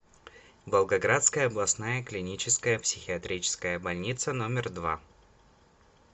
волгоградская областная клиническая психиатрическая больница номер два